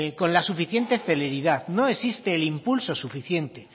con la suficiente celeridad no existe el impulso suficiente